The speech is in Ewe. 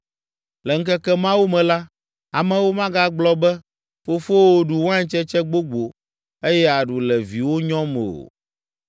“Le ŋkeke mawo me la, amewo magagblɔ be, ‘Fofowo ɖu waintsetse gbogbo eye aɖu le viwo nyɔm’ o.